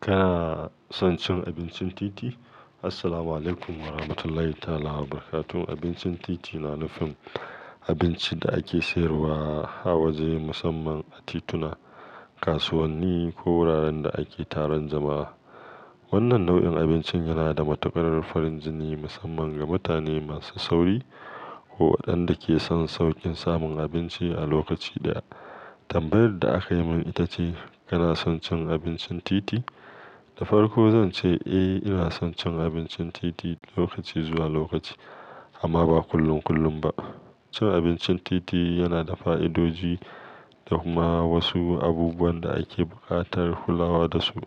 Kana son cin abincin titi? Assalamualaikum warahmatullahi ta'ala wabarakatuh. Abincin titi na nufin abincin da ake sayarwa a wajaje musamman a tituna, kasuwanni ko wuraren da ake taron jama'a. Wannan nau'in abincin yana da matuƙar farin jini musamman ga mutane masu sauri ko waɗanda ke son sauƙin samun abinci a lokaci daya. Tambayar da aka yi min ita ce kana son cin abincin titi? Da farko zan ce eh, ina son cin abincin titi lokaci zuwa lokaci amma ba kullum kullum ba. Cin abincin titi yana da fa'idodi da kuma wasu abubuwan da ake buƙatar kulawa da su.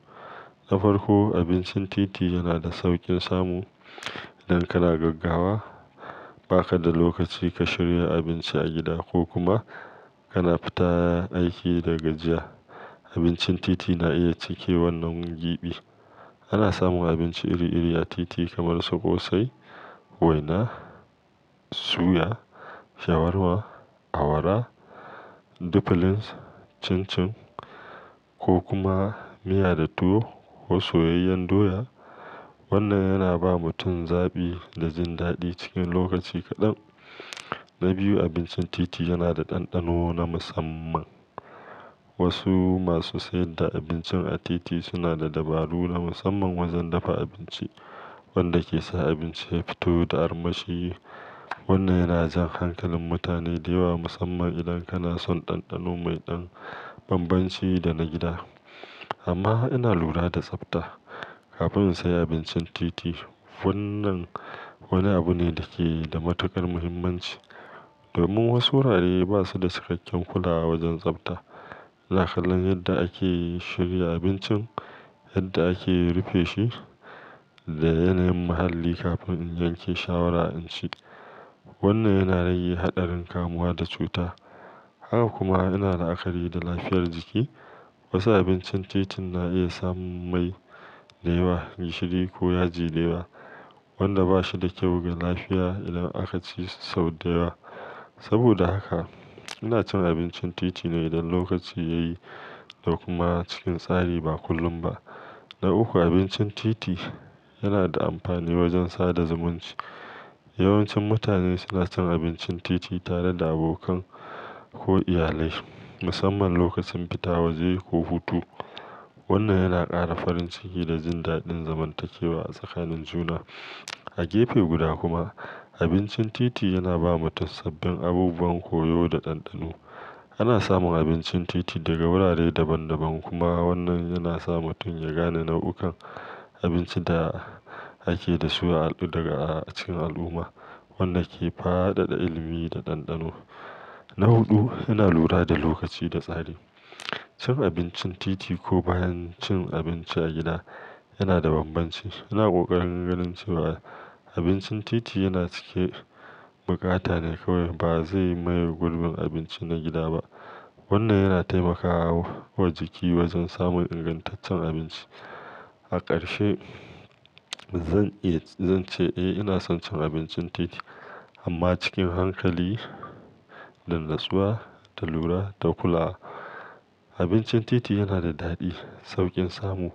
Da farko, abincin titi yana da sauƙin samu. Idan kana gaggawa, ba ka da lokaci ka shirya abinci a gida ko kuma kana fita aiki da gajiya, abincin titi na iya cike wannan gibi. Ana samun abinci iri-iri a titi kamar su ƙosai, waina, suya, shawarma, awara, diffilins, cincin ko kuma miya da tuwo ko soyayyen doya. Wannan yana ba mutum zaɓi da jin daɗi cikin lokaci kaɗan. Na biyu, abincin titi yana da ɗanɗano na musamman. Wasu masu sayar da abinci a titi suna da dabaru na musamman wajen dafa abinci. Wanda ke sa abinci ya fito da armashi. Wannan yana jan hankalin mutane da yawa musamman idan kana son ɗanɗano mai ɗan bambanci da na gida. Amma ina lura da tsafta kafin in sayi abincin titi. Wannan wani abu ne da ke da matuƙar muhimmanci domin wasu wurare ba su da cikakken kulawa wajen tsafta. Da kallon yadda ake shirya abincin, yadda ake rufe shi da yanayin muhalli kafin in yanke shawara in ci. Wannan yana rage haɗarin kamuwa da cuta. Haka kuma ina la'akari da lafiyar jiki. Wasu abincin titin na iya samun mai da yawa, gishiri ko yaji da yawa wanda ba shi da kyau ga lafiya idan aka ci sau da yawa. Saboda haka ina cin abincin titi ne idan lokaci ya yi da kuma cikin tsari ba kullum ba. Na uku, abincin titi yana da amfani wajen sada zumunci. Yawancin mutane suna cin abincin titi tare da abokan ko iyalai musamman lokacin fita waje ko hutu. Wannan yana ƙara farin ciki da jin daɗin zamantakewa a tsakanin juna. A gefe guda kuma, abincin titi yana ba mutum sabbin abubuwan koyo da ɗanɗano. Ana samun abincin titi daga wurare daban daban kuma wannan yana sa mutum ya gane nau'ukan abincin da ake da su a al-- daga cikin al'umma. Wannan ke fadada ilimi da ɗanɗano. Na huɗu, ina lura da lokaci da tsari. Cin abincin titi ko bayan cin abinci a gida yana da bambanci. Ina ƙoƙarin ganin cewa abincin titi yana cike buƙata ne kawai ba zai maye gurbin abinci na gida ba. Wannan yana taimakawa wa jiki wajen samun ingantaccen abinci. A ƙarshe, zan iya-- zan ce eh ina son cin abincin titi amma cikin hankali da natsuwa da lura da kulawa. Abincin titi yana da daɗi, sauƙin samu,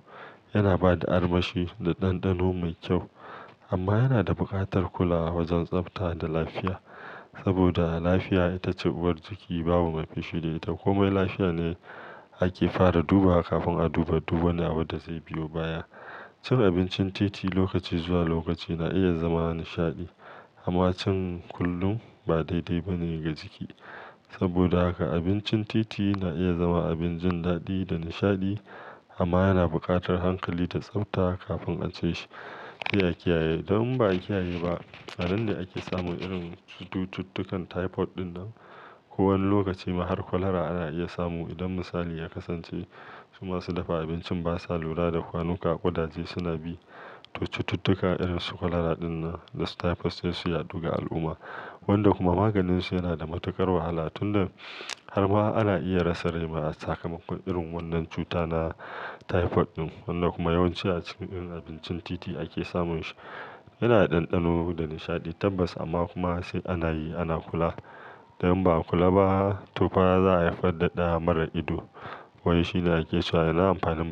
yana ba da armashi da ɗanɗano mai kyau amma yana da buƙatar kulawa wajen tsafta da lafiya. Saboda lafiya ita ce uwar jiki babu mai fushi da ita. Komai lafiya ne ake fara duba kafin a duba duk wani abin da zai biyo baya. Cin abincin titi lokaci zuwa lokaci na iya zama nishaɗi amma cin kullum ba daidai ba ne ga jiki. Saboda haka abincin titi na iya zama abin jin daɗi da nishaɗi amma yana buƙatar hankali da tsafta kafin a ci shi. Sai a, kiyaye don in ba a kiyaye ba, a nan ne ake samun irin cututtukan typhoid ɗinnan, ko wani lokaci ma har cholera ana iya samu idan misali ya kasance su masu dafa abinci ba sa lura da kwanuka ƙudaje suna bi. Cututtuka irin su cholera ɗinnan da typhoid sai su yadu ga al'umma wanda kuma maganinsu yana da matuƙar wahala tunda har ma ana iya rasa rai ma a sakamakon irin wannan cuta na typhoid ɗin. Wanda kuma yawanci a cikin abincin titi ake samun shi. Yana da ɗanɗano da nishaɗi tabbas amma kuma sai ana yi, ana kula. Don in ba a kula ba, to fa za a haifar da da mara ido. Wai shi ne ake cewa ina amfanin.